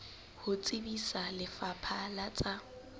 ho tsebisa lefapha la tsa